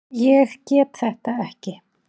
Ég get þetta ekki.